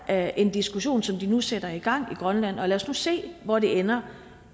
er en diskussion som de nu sætter i gang i grønland og lad os nu se hvor det ender